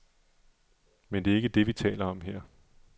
Men det er ikke det, vi taler om her.